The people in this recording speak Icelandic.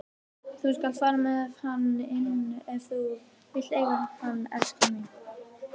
Þú skalt fara með hann inn ef þú vilt eiga hann, elskan mín.